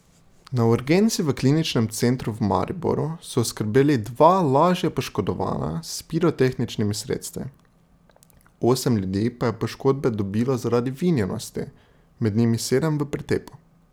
Na urgenci v kliničnem centru v Mariboru so oskrbeli dva lažje poškodovana s pirotehničnimi sredstvi, osem ljudi pa je poškodbe dobilo zaradi vinjenosti, med njimi sedem v pretepu.